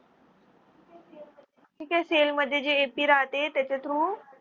ठीक आहे. cell मध्ये जे ap राहते त्याच्या through